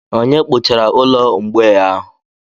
Onye hichara ụlọ ụmụ mgbei ahụ?